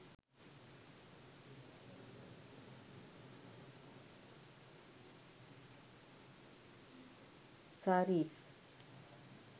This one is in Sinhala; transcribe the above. sarees